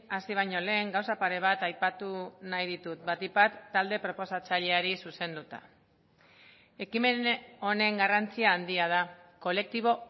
hasi baino lehen gauza pare bat aipatu nahi ditut batik bat talde proposatzaileari zuzenduta ekimen honen garrantzi handia da kolektibo